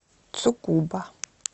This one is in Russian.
цукуба